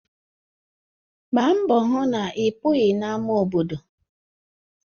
Gbaa mbọ hụ na ịpụghị n'ámá obodo.